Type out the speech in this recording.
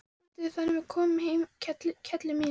Bíddu þangað til við komum heim, kelli mín.